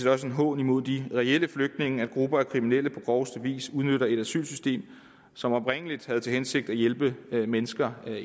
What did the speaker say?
også en hån imod de reelle flygtninge når grupper af kriminelle på groveste vis udnytter et asylsystem som oprindelig havde til hensigt at hjælpe mennesker